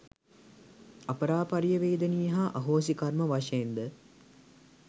අපරාපරිය වේදනීය හා අහෝසි කර්ම වශයෙන්ද